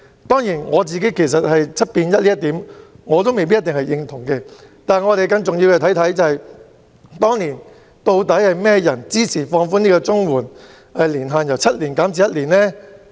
當然，我對 "7 變 1" 這一點未必認同，但更重要的是，當年是誰支持放寬綜援定居年限由7年變成為1年？